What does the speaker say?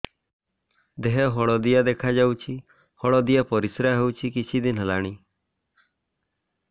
ଦେହ ହଳଦିଆ ଦେଖାଯାଉଛି ହଳଦିଆ ପରିଶ୍ରା ହେଉଛି କିଛିଦିନ ହେଲାଣି